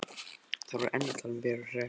Þær voru enn að tala um Veru Hress.